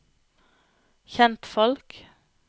kjentfolk